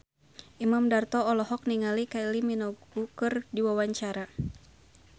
Imam Darto olohok ningali Kylie Minogue keur diwawancara